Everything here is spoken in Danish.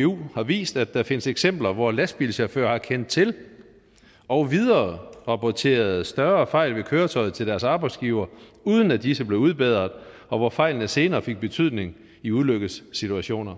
hvu har vist at der findes eksempler hvor lastbilchauffører har kendt til og vidererapporteret større fejl ved køretøjet til deres arbejdsgiver uden at disse blev udbedret og hvor fejlene senere fik betydning i ulykkessituationer